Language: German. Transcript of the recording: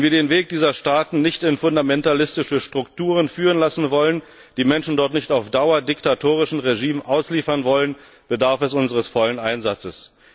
Wenn wir den Weg dieser Staaten nicht in fundamentalistische Strukturen führen lassen wollen, die Menschen dort nicht auf Dauer diktatorischen Regimen ausliefern wollen, bedarf es unseres vollen Einsatzes.